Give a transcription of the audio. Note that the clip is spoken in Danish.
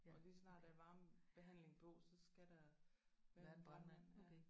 Og lige så snart der er varmebehandling på så skal der være en brandmand ja